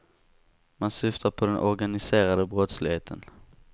Man syftar på den organiserade brottsligheten.